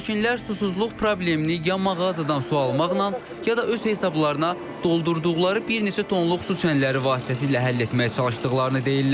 Sakinlər susuzluq problemini ya mağazadan su almaqla, ya da öz hesablarına doldurduqları bir neçə tonluq su çənləri vasitəsilə həll etməyə çalışdıqlarını deyirlər.